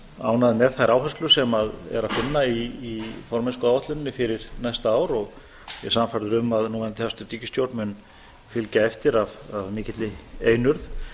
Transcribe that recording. ánægð með þær áherslur sem er að finna í formennskuáætluninni fyrir næsta ár og ég er sannfærður um að núverandi hæstvirt ríkisstjórn mun fylgja eftir af mikilli einurð